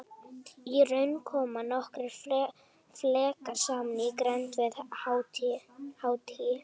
Í raun koma nokkrir flekar saman í grennd við Haítí.